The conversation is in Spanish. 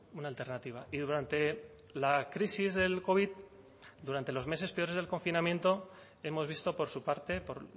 una alternativa y durante la crisis del covid durante los meses peores del confinamiento hemos visto por su parte por